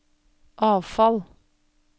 avfall